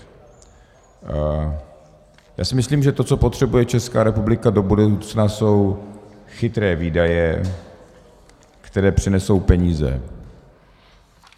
Já si myslím, že to, co potřebuje Česká republika do budoucna, jsou chytré výdaje, které přinesou peníze.